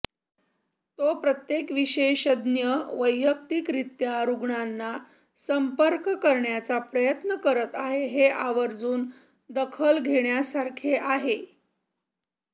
तो प्रत्येक विशेषज्ञ वैयक्तिकरित्या रुग्णांना संपर्क करण्याचा प्रयत्न करत आहे हे आवर्जून दखल घेण्यासारखे आहे